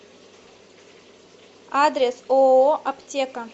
адрес ооо аптека